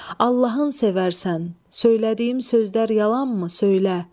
Allahın sevərsən, söylədiyim sözlər yalanmı, söylə?